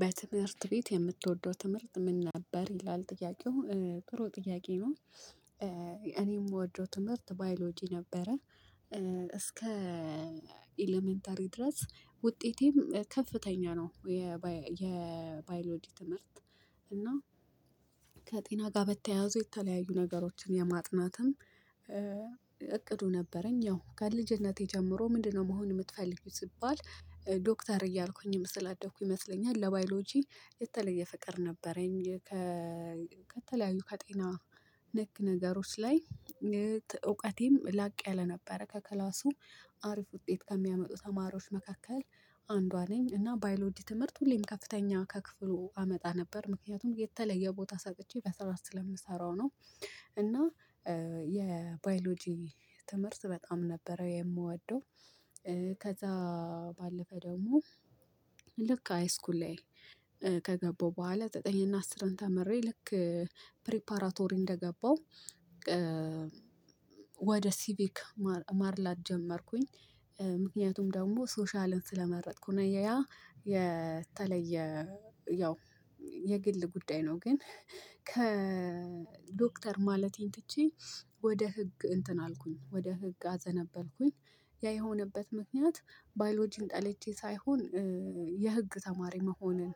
በትምህርት ቤት የምትወደው ትምህርት ምን ነበር ይላል ጥያቄው ጥሩ ጥያቄ ነው። እኔ የምወደው ትምህርት ባዮሎጂ ነበረ። እስከ ኤለመንተሪ ድረስ ውጤቴም ከፍተኛ ነው የ የባዮሎጂ ትምህርት። እና። ከጤና ጋር በተያያዙ የተለያዩ ነገሮችን የማጥናትም እቅዱ ነበረኝ ያው ከልጅነቴ ጀምሮ ምንድነው? መሆን የምትፈልጊው ሲባል ዶክተር እያልኩኝ ስላደኩኝ ይመስለኛል። ለባዮሎጂ የተለየ ፍቅር ነበረኝ ከ ከተለያዩ ከጤና ነክ ነገሮች ላይ እውቀቴም ላቅ ያለ ነበረ። ከክላሱ አሪፍ ውጤት ከሚያመጡ ተማሪዎች መካከል አንዷ ነኝ። እና ባይሎጂ ትምህርት ሁሌም ከፍተኛ ከክፍሉ አመጣ ነበር። ምክንያቱም የተለየ ቦታ ሰጥቼ በስርዓት ስለምሰራው ነው። እና የባዮሎጂ ትምህርት በጣም ነበረ የምወደው። ከዛ ባለፈ ደግሞ ልክ አይስኩል ላይ ከገባው በኋላ ዘጠኝ እና አስርን ተምሬ ልክ ፕሪፓራቶሪ እንደገባው። ወደ ሲቪክ ማድላት ጀመርኩኝ ምክንያቱም ደግሞ ሶሻልን ስለመረጥኩ ነው። ያ የተለየ ያው የግል ጉዳይ ነው። ግን ከዶክተር ማለቴን ትቼ ወደ ህግ እንትን አልኩኝ ወደ ህግ አዘነበልኩኝ። ያ የሆነበት ምክንያት ባዮሎጂን ጠልቼ ሳይሆን የህግ ተማሪ መሆንን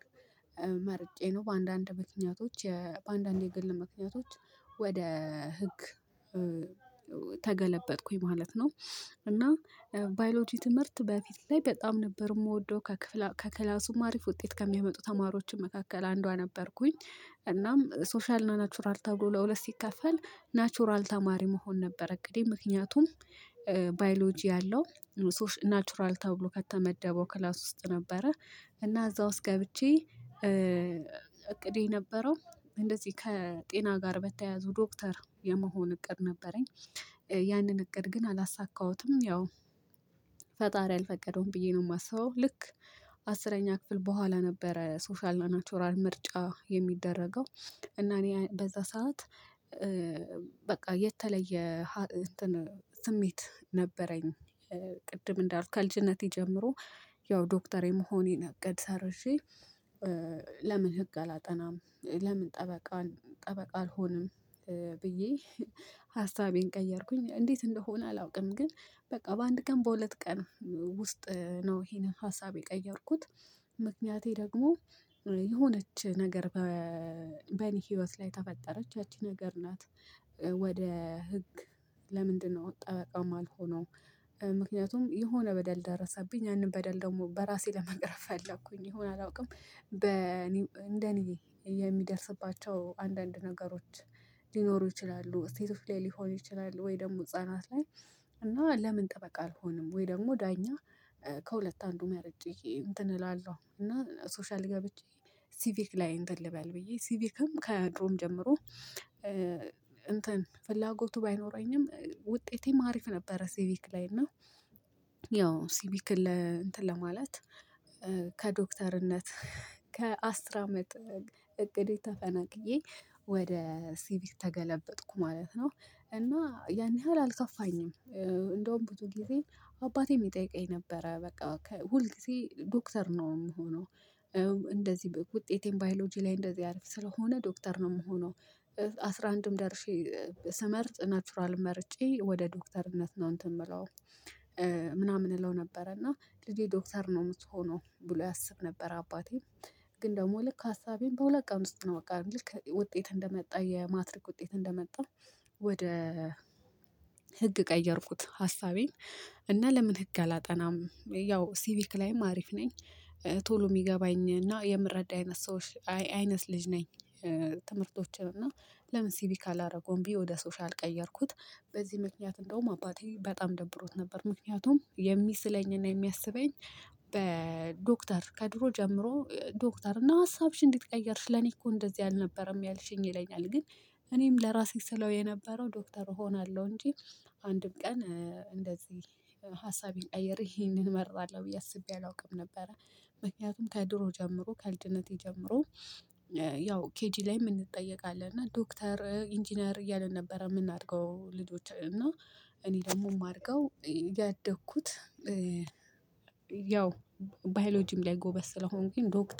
መርጬ ነው። በአንዳንድ ምክንያቶች በአንዳንድ የግል ምክንያቶች ወደ ህግ ተገለበጥኩኝ ማለት ነው። እና ባዮሎጂ ትምህርት በፊት ላይ በጣም ነበር የምወደው ከክፍለ ከክላሱም አሪፍ ውጤት ከሚያመጡ ተማሮችን መካከል አንዷ ነበርኩኝ። እናም ሶሻል እና ናቹራል ተብሎ ለሁለት ሲከፈል ናቹራል ተማሪ መሆን ነበር። እቅዴ ምክንያቱም ባዮሎጂ አለው ናቹራል ተብሎ ከተመደበው ክላስ ውስጥ ነበረ። እና እዛ ውስጥ ገብቼ እቅዴ የነበረው እንደዚህ ከጤና ጋር በተያያዙ ዶክተር የመሆን እቅድ ነበረኝ። ያንን እቅድ ግን አላሳካሁትም ያው ፈጣሪ አልፈቀደውም ብዬ ነው የማስበው። ልክ አስረኛ ክፍል በኋላ ነበረ ሶሻል እና ናቹራል ምርጫ የሚደረገው እና እኔ በዛ ሰዓት በቃ የተለየ ስሜት ነበረኝ። ቅድም እንዳልኩ ከልጅነቴ ጀምሮ ያው ዶክተር የመሆኔን እቅድ ሰርዤ ለምን? ህግ አላጠናም? ለምን? ጠበቃን ጠበቃ አልሆንም። ብዬ ሀሳቤን ቀየርኩኝ እንዴት? እንደሆነ አላውቅም። ግን በቃ በአንድ ቀን በሁለት ቀን ውስጥ ነው ይሄንን ሀሳቤ የቀየርኩት። ምክንያቴ ደግሞ የሆነች ነገር በኔ ህይወት ላይ ተፈጠረች ያቺ ነገር ናት። ወደ ህግ ለምንድነው? ጠበቃ ማልሆነው? ምክንያቱም የሆነ በደል ደረሰብኝ ያንን በደል ደግሞ በራሴ ለመቅረፍ ፈለኩኝ የሆነ አላውቅም በ እኔ እንደ እኔ የሚደርስባቸው አንዳንድ ነገሮች ሊኖሩ ይችላሉ። ሴቶች ላይ ሊሆኑ ይችላል። ወይ ደግሞ ህፃናት ላይ እና ለምን ጥበቃ አልሆንም? ወይ ደግሞ ዳኛ? ከሁለት አንዱ መርጬ እንትን እላለሁ እና ሶሻል ገብቼ ሲቪክ ላይ እንትን ልበል ብዬ ሲቪክም ከድሮም ጀምሮ እንትን ፍላጎቱ ባይኖረኝም ውጤቴም አሪፍ ነበረ። ሲቪክ ላይ እና ያው ሲቪክን እንትን ለማለት ከዶክተርነት ከአስር አመት እቅዴ ተፈናቅዬ ወደ ሲቪክ ተገለበጥኩ ማለት ነው። እና ያን ያህል አልከፋኝም። እንደውም ብዙ ጊዜ አባቴም ይጠይቀኝ ነበረ በቃ ሁልጊዜ ዶክተር ነው የምሆነው። እንደዚህ ውጤቴን ባዮሎጂ ላይ እንደዚህ አልፍ ስለሆነ ዶክተር ነው የምሆነው። አስራ አንድም ደርሼ ስመርጥ ናቹራል መርጬ ወደ ዶክተርነት ነው እንትን የምለው። ምናምን እለው ነበረ እና ልጄ ዶክተር ነው ምትሆነው ብሎ ያስብ ነበር አባቴ። ግን ደግሞ ልክ ሀሳቤን በሁለት ቀን ውስጥ ነው በቃ ልክ ውጤት እንደመጣ የማትሪክ ውጤት እንደመጣ ወደ ህግ ቀየርኩት ሀሳቤን። እና ለምን ህግ አላጠናም ያው ሲቪክ ላይም አሪፍ ነኝ። ቶሎ የሚገባኝ እና የምረዳ አይነት ሰዎች አይነት ልጅ ነኝ። ትምህርቶችን እና ለምን ሲቪክ አላረገው ብየ ወደ ሶሻል ቀየርኩት። በዚህ ምክንያት እንደውም አባቴ በጣም ደብሮት ነበር። ምክንያቱም የሚስለኝና የሚያስበኝ በዶክተር ከድሮ ጀምሮ ዶክተርና ሀሳብሽን እንዴት ቀይርሽ ለኔ እኮ እንደዚህ አልነበረም ያልሽኝ ይለኛል። ግን እኔም ለራሴ ስለው የነበረው ዶክተር እሆናለሁ እንጂ። አንድም ቀን እንደዚህ ሀሳቤን ቀይሬ ይሄንን እመርጣለሁ ብዬ አስቤ አላውቅም ነበረ። ምክንያቱም ከድሮ ጀምሮ ከልጅነቴ ጀምሮ ያው ኬጂ ላይም እንጠየቃለን እና ዶክተር ኢንጂነር እያልን ነበረ የምናድገው ልጆች እና እኔ ደግሞ የማድገው ያደኩት። ያው ባዮሎጂም ላይ ጎበዝ ስለሆንኩኝ ዶክተር